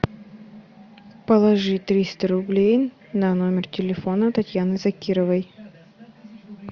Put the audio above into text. положи триста рублей на номер телефона татьяны закировой